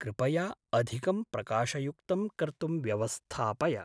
कृपया अधिकं प्रकाशयुक्तं कर्तुं व्यवस्थापय।